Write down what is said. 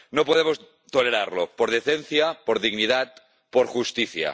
No podemos tolerarlo por decencia, por dignidad, por justicia.